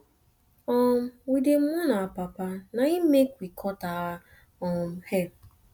um we dey mourn our papa na im make we cut our um hair